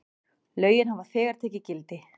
Lögin hafa þegar tekið gildi.